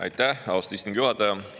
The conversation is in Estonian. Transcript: Aitäh, austatud istungi juhataja!